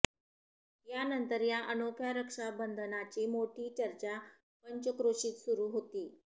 यानंतर या अनोख्या रक्षाबंधनाची मोठी चर्चा पंचक्रोशीत सुरु होती